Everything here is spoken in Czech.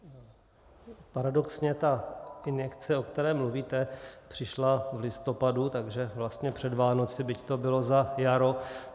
Paradoxně ta injekce, o které mluvíte, přišla v listopadu, takže vlastně před Vánoci, byť to bylo za jaro.